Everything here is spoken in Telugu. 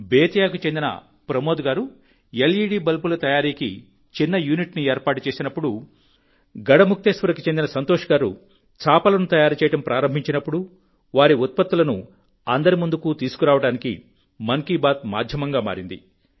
బేతియాకు చెందిన ప్రమోద్ గారు ఎల్ఈడీ బల్బుల తయారీకి చిన్న యూనిట్ను ఏర్పాటు చేసినప్పుడు గఢ్ ముక్తేశ్వర్కు చెందిన సంతోష్ గారు చాపలను తయారు చేయడం ప్రారంభించినప్పుడు వారి ఉత్పత్తులను అందరి ముందుకు తీసుకురావడానికి మన్ కీ బాత్ మాధ్యమంగా మారింది